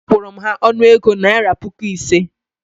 Akwụru m ha ọnụego naira puku ise